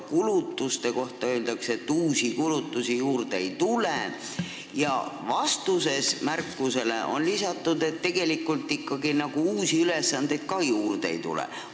Kulutuste kohta öeldakse, et uusi kulutusi juurde ei tule, ja vastuses märkusele on lisatud, et tegelikult ikkagi ka uusi ülesandeid juurde ei tule.